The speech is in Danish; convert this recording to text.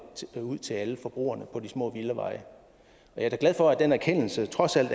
ud til alle forbrugerne på de små villaveje og jeg er da glad for at den erkendelse også